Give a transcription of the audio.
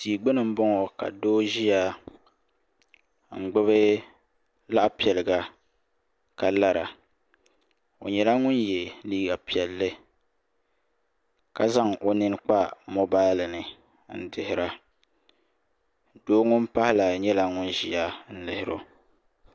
tia gbuni n boŋo ka doo ʒiya n gbubi laɣa piɛliga ka lara o nyɛla ŋun yɛ liiga piɛlli ka zaŋ o nini kpa moobal ni n dihira doo ŋun pahi maa nyɛla ŋun ʒiya n lihiro